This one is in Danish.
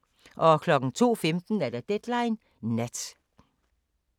02:15: Deadline Nat